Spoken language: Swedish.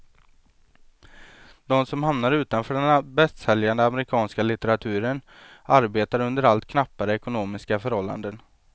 De som hamnar utanför den bästsäljande amerikanska litteraturen, arbetar under allt knappare ekonomiska förhållanden.